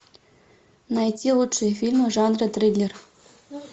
найти лучшие фильмы жанра триллер